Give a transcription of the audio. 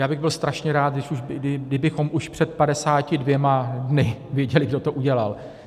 Já bych byl strašně rád, kdybychom už před 52 dny věděli, kdo to udělal.